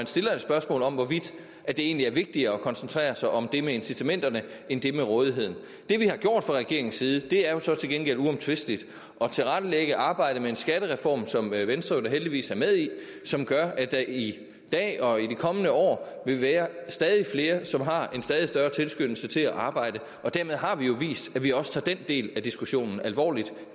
stilles et spørgsmål om hvorvidt det egentlig er vigtigere at koncentrere sig om det med incitamenterne end det med rådigheden det vi har gjort fra regeringens side det er så til gengæld uomtvisteligt at tilrettelægge arbejdet med en skattereform som venstre jo heldigvis er med i og som gør at der i dag og i de kommende år vil være stadig flere som har en stadig større tilskyndelse til at arbejde og dermed har vi jo vist at vi også tager den del af diskussionen alvorligt